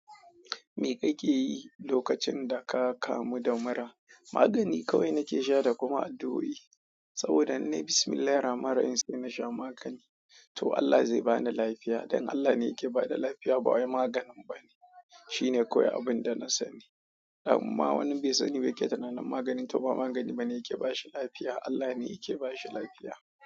Me kake yi lokacin da ka kamu da mura? Magani kawai nake sha da kuma addu'o'i. Saboda in nai bismillahir rahmanir rahim sai nasha magani. To Allah zai bani lafiya. Dan Allah ne ke bada lafiya ba wai maganin bane. Shine kawai abun da na sani. Amma wani besani yake tunanin maganin toh ba magani bane yake bashi lafiya. Allah ne yake bashi lafiya.